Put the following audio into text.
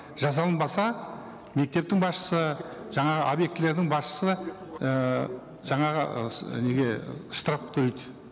жасалынбаса мектептің басшысы жаңағы объектілердің басшысы ііі жаңағы ы осы неге штраф төлейді